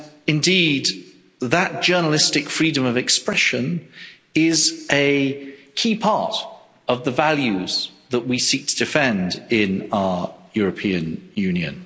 Indeed, that journalistic freedom of expression is a key part of the values that we seek to defend in our European Union.